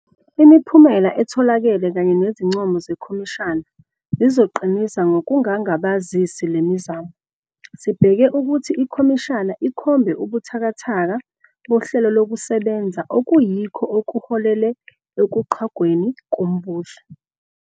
Imiphumela etholakele kanye nezincomo zekhomishana zizoqinisa ngokungangabazisi le mizamo. Sibheke ukuthi ikhomishana ikhombe ubuthakathaka bohlelokusebenza okuyikho okuholele ekuqhwagweni kombuso.